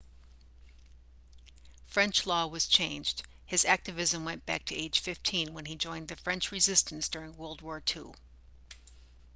french law was changed his activism went back to age 15 when he joined the french resistance during world war ii